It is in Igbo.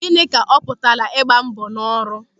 Gịnị ka ọ pụtara ịgba mbọ n'ọrụ?